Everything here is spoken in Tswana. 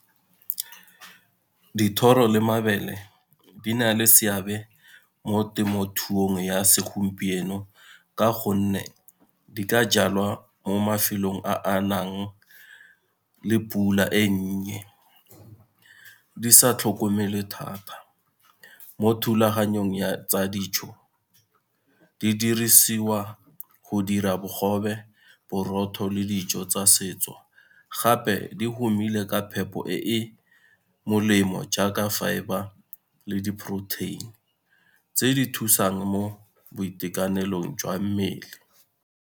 Dithoro le mabele di na le seabe mo temothuong ya segompieno ka gonne di ka jalwa mo mafelong a a nang le pula e nnye, di sa tlhokomelwe thata. Mo thulaganyong ya tsa dijo di dirisiwa go dira bogobe, borotho le dijo tsa setso, gape di humile ka phepo e e molemo jaaka fibre le di-protein tse di thusang mo boitekanelong jwa mmele.